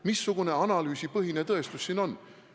Missugune analüüsipõhine tõestus siin on?